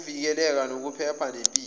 ukuvikeleka kokuphepha nempilo